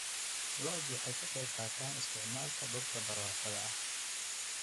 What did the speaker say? Lo'du waxay ka qayb qaataan isticmaalka dhulka barwaaqada ah.